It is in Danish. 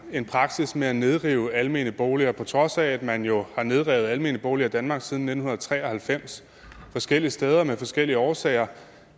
en praksis med at nedrive almene boliger på trods af at man jo har nedrevet almene boliger i danmark siden nitten tre og halvfems forskellige steder af forskellige årsager